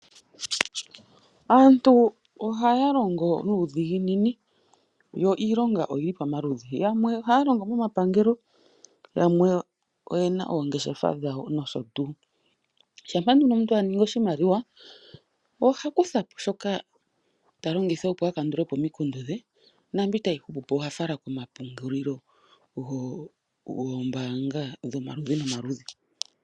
Aantu ohaya longo nuudhiginini. Yo iilonga oyili pamaludhi, yamwe ohaya longo momapangelo, yamwe oyena oongeshefa dhawo nosho tuu. Shampa nduno omuntu a ningi oshimaliwa oha kuthapo shoka ta longitha opo a kandulepo omikundu dhe naambi tayi hupu po oha fala komapungulilo goombaanga dhomaludhi nomaludhi.